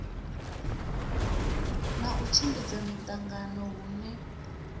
na u tshimbidza miṱangano hune